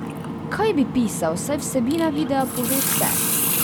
Kaj bi pisal, saj vsebina videa pove vse.